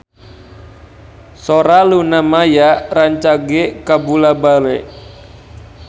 Sora Luna Maya rancage kabula-bale